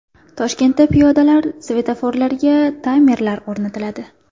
Toshkentda piyodalar svetoforlariga taymerlar o‘rnatiladi.